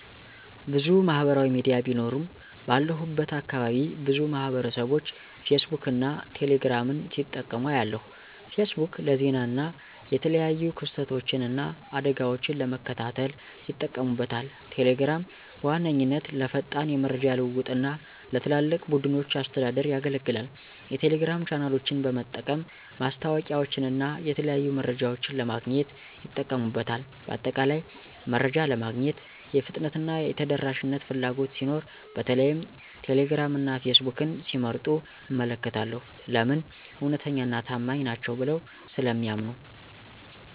**ብዙ ማህበራዊ ሚዲያ ቢኖሩም፦ ባለሁበት አካባቢ ብዙ ማህበረሰብቦች ፌስቡክን እና ቴሌ ግራምን ሲጠቀሙ አያለሁ፤ * ፌስቡክ: ለዜና እና የተለያዩ ክስተቶችን እና አደጋወችን ለመከታተል ይጠቀሙበታል። * ቴሌግራም: በዋነኛነት ለፈጣን የመረጃ ልውውጥ እና ለትላልቅ ቡድኖች አስተዳደር ያገለግላል። የቴሌግራም ቻናሎችን በመጠቀም ማስታወቂያወችንና የተለያዩ መረጃዎችን ለማግኘት ይጠቀሙበታል። በአጠቃላይ፣ መረጃ ለማግኘት የፍጥነትና የተደራሽነት ፍላጎት ሲኖር በተለይም ቴሌግራም እና ፌስቡክን ሲመርጡ እመለከታለሁ። *ለምን? እውነተኛና ታማኝ ናቸው ብለው ስለሚያምኑ።